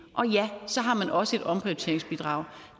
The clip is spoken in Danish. og ja så har man også et omprioriteringsbidrag